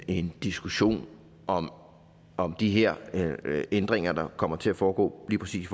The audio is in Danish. en diskussion om om de her ændringer der kommer til at foregå lige præcis